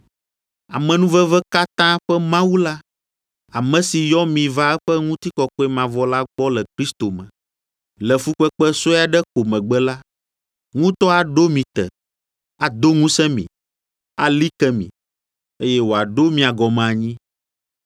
Amenuveve katã ƒe Mawu la, ame si yɔ mi va eƒe ŋutikɔkɔe mavɔ la gbɔ le Kristo me, le fukpekpe sue aɖe ko megbe la, ŋutɔ aɖo mi te, ado ŋusẽ mi, ali ke mi, eye wòaɖo mia gɔme anyi.